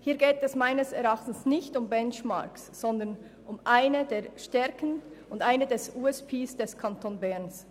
Hier geht es meines Erachtens nicht um Benchmarks, sondern um eine der Stärken und um eines der Alleinstellungsmerkmale des Kantons Bern.